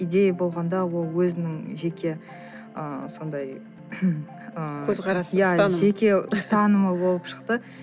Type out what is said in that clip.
идея болғанда ол өзінің жеке ы сондай ыыы көзқарасы иә жеке ұстанымы болып шықты